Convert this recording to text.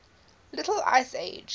little ice age